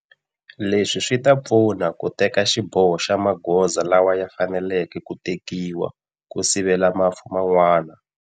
Leswi swi ta pfuna u teka xiboho xa magoza lawa ya fanelekeke ku tekiwa ku sivela mafu man'wana.